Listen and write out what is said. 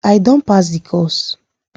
i don pass the course